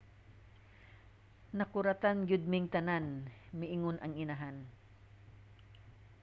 "nakuratan gayud ming tanan, miingon ang inahan